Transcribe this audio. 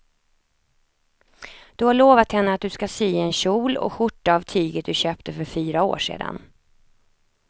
Du har lovat henne att du ska sy en kjol och skjorta av tyget du köpte för fyra år sedan.